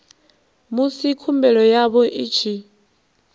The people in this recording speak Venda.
musi khumbelo yavho i tshi